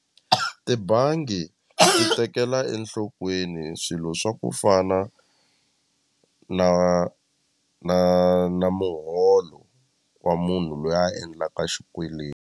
Tibangi ti tekela enhlokweni swilo swa ku fana na na na muholo wa munhu loyi a endlaka xikweleti.